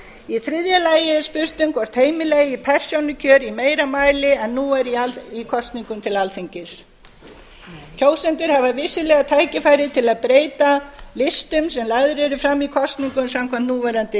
í þriðja lagi er spurt um hvort heimila eigi persónukjör í meira mæli en nú er í kosningum til alþingis kjósendur hafa vissulega tækifæri til að breyta vistum sem lagðar eru fram í kosningum samkvæmt núverandi